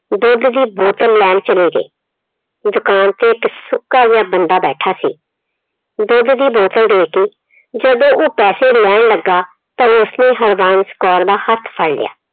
ਦੁੱਧ ਦੀ ਬੋਤਲ ਲੈਣ ਚਲੀ ਗਈ। ਦੁਕਾਨ ਤੇ ਇੱਕ ਸੁੱਕਾ ਜਿਹਾ ਬੰਦਾ ਬੈਠਾ ਸੀ। ਦੁੱਧ ਦੀ ਬੋਤਲ ਦੇ ਕੇ ਜਦੋਂ ਉਹ ਪੈਸੇ ਲੈਣ ਲੱਗਾ ਤਾਂ ਉਸਨੇ ਹਰਬੰਸ ਕੌਰ ਦਾ ਹੱਥ ਫੜ ਲਿਆ।